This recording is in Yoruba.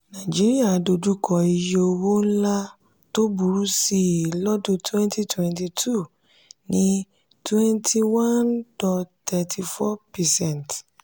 nàíjíríà dojú kọ iye owó ńlá tó burú sí i lọ́dún twentytwenty two ní twenty one dot thirty four percent